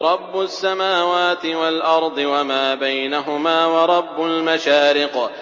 رَّبُّ السَّمَاوَاتِ وَالْأَرْضِ وَمَا بَيْنَهُمَا وَرَبُّ الْمَشَارِقِ